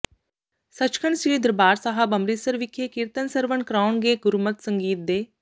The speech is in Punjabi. ਸੱਚਖੰਡ ਸ੍ਰੀ ਦਰਬਾਰ ਸਾਹਿਬ ਅੰਮ੍ਰਿਤਸਰ ਵਿਖੇ ਕੀਰਤਨ ਸਰਵਣ ਕਰਵਾਉਣਗੇ ਗੁਰਮਤਿ ਸੰਗੀਤ ਦੇ